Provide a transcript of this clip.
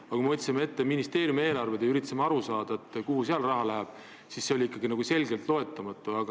Aga kui me võtsime ette ministeeriumide eelarved ja üritasime aru saada, kuhu see raha läheb, siis need olid ikkagi loetamatud.